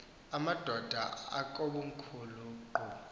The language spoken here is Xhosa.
amadod akomkhul eqhub